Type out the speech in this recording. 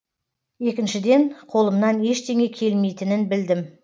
екіншіден қолымнан ештене келмейтінін білдім